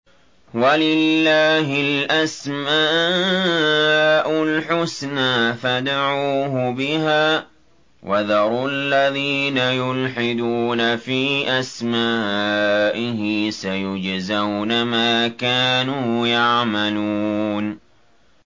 وَلِلَّهِ الْأَسْمَاءُ الْحُسْنَىٰ فَادْعُوهُ بِهَا ۖ وَذَرُوا الَّذِينَ يُلْحِدُونَ فِي أَسْمَائِهِ ۚ سَيُجْزَوْنَ مَا كَانُوا يَعْمَلُونَ